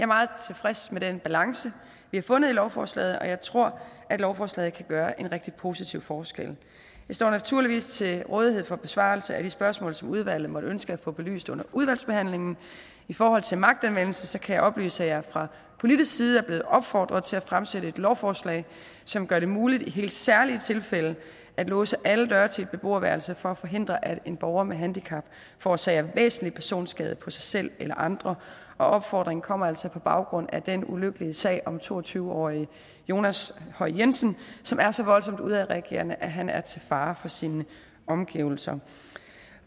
meget tilfreds med den balance vi har fundet i lovforslaget og jeg tror at lovforslaget kan gøre en rigtig positiv forskel jeg står naturligvis til rådighed for besvarelse af de spørgsmål som udvalget måtte ønske at få belyst under udvalgsbehandlingen i forhold til magtanvendelse kan jeg oplyse at jeg fra politisk side er blevet opfordret til at fremsætte et lovforslag som gør det muligt i helt særlige tilfælde at låse alle døre til et beboerværelse for at forhindre at en borger med handicap forårsager væsentlig personskade på sig selv eller andre opfordringen kommer altså på baggrund af den ulykkelige sag om to og tyve årige jonas høj jensen som er så voldsomt udadreagerende at han er til fare for sine omgivelser